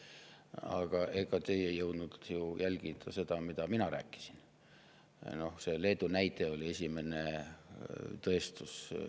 Aga ega teie ei jõudnud ju ka jälgida seda, mida mina rääkisin – Leedu näide oli selle esimene tõestus.